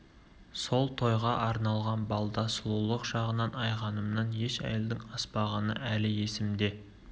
сол тойға арналған балда сұлулық жағынан айғанымнан еш әйелдің аспағаны әлі есімде